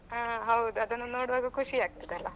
ಹಾ ಹೌದು ಅದನ್ನು ನೋಡುವಾಗ ಖುಷಿ ಆಗ್ತದಲ್ಲಾ?